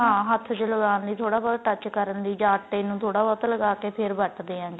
ਹਾਂ ਹੱਥ ਚ ਲਗਾਣ ਲਈ ਥੋੜਾ ਬਹੁਤ touch ਕਰਨ ਲਈ ਜਾਂ ਆਟੇ ਨੂੰ ਥੋੜਾ ਬਹੁਤਾ ਲਗਾ ਕੇ ਫੇਰ ਵਰਤਦੇ ਆ